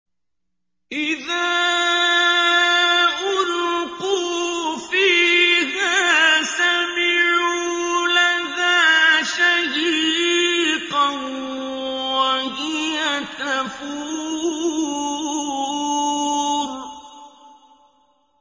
إِذَا أُلْقُوا فِيهَا سَمِعُوا لَهَا شَهِيقًا وَهِيَ تَفُورُ